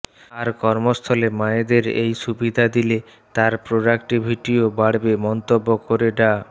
আর কর্মস্থলে মায়েদের এই সুবিধা দিলে তার প্রোডাক্টিভিটিও বাড়বে মন্তব্য করে ডা